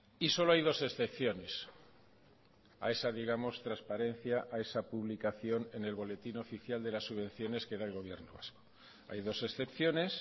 y solo hay dos excepciones a esa digamos transparencia a esa publicación en el boletín oficial de las subvenciones que da el gobierno vasco hay dos excepciones